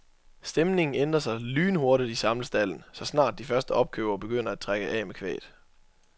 Stemningen ændrer sig lynhurtigt i samlestalden, så snart de første opkøbere begynder at trække af med kvæget.